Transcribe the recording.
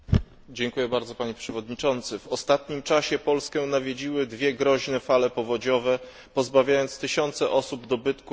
W ostatnim czasie Polskę nawiedziły dwie groźne fale powodziowe, pozbawiając tysiące osób dobytku i dachu nad głową.